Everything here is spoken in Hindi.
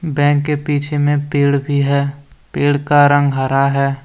बैंक के पीछे में पेड़ भी है पेड़ का रंग हरा है।